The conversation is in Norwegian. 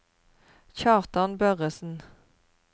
Kjartan Børresen